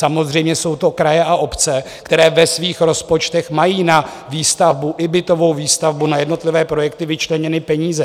Samozřejmě jsou to kraje a obce, které ve svých rozpočtech mají na výstavbu, i bytovou výstavbu, na jednotlivé projekty vyčleněny peníze.